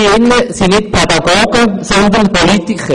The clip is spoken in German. Wir hier im Rat sind keine Pädagogen, sondern Politiker.